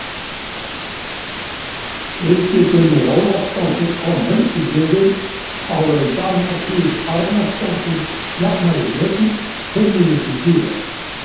Hildigunnur Ólafsdóttir kom Haukum yfir áður en Dagmar Ýr Arnarsdóttir jafnaði metin fimm mínútum síðar.